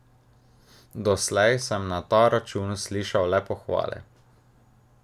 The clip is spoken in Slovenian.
Doslej sem na ta račun slišal le pohvale.